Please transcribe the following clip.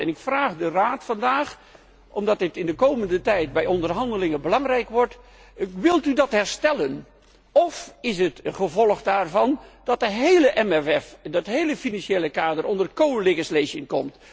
Ik vraag de Raad vandaag omdat dit de komende tijd bij onderhandelingen belangrijk wordt wilt u dat herstellen of is het gevolg daarvan dat het hele MFK, dat hele financiële kader onder medewetgeving gaat vallen?